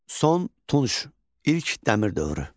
Son Tunc, İlk Dəmir dövrü.